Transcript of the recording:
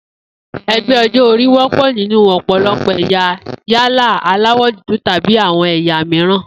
E̩gbé̩ o̩jó̩-orí wó̩pò̩ nínú ò̩pò̩lo̩pò̩ è̩yà yálà aláwò̩ dúdú tàbí àwo̩n è̩yà mìíràn